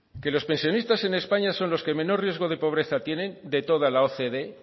que los pensionistas en españa son los que menor riesgo de pobreza tienen de toda la ocde